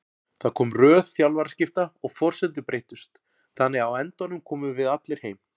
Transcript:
Það kom röð þjálfaraskipta og forsendur breyttust þannig að á endanum komum við allir heim.